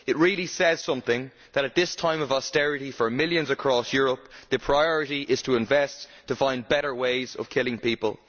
It really says something that, at this time of austerity for millions across Europe, the priority is to invest to find better ways of killing people.